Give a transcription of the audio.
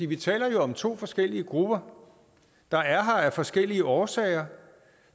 vi taler jo om to forskellige grupper der er her af forskellige årsager